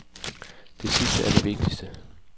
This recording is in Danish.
Det sidste er det vigtigste.